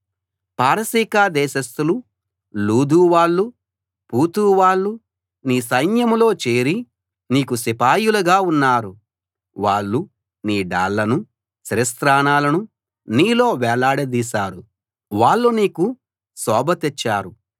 పారసీక దేశస్థులు లూదు వాళ్ళు పూతు వాళ్ళు నీ సైన్యంలో చేరి నీకు సిపాయిలుగా ఉన్నారు వాళ్ళు నీ డాళ్లనూ శిరస్త్రాణాలనూ నీలో వేలాడదీశారు వాళ్ళు నీకు శోభ తెచ్చారు